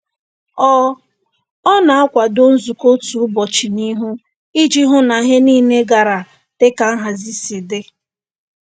Ọ Ọ na-akwado nzukọ otu ụbọchị n'ihu iji hụ na ihe niile gara dịka nhazi si dị.